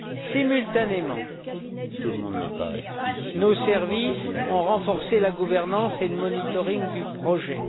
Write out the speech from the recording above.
Simultanément, nos services ont renforcé la gouvernance et le monitoring du projet.